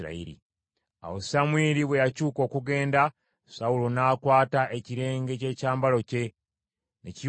Awo Samwiri bwe yakyuka okugenda, Sawulo n’akwata ekirenge ky’ekyambalo kye, ne kiyulika.